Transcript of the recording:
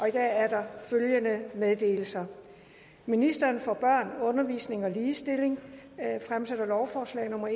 i dag er der følgende anmeldelser ministeren for børn undervisning og ligestilling lovforslag nummer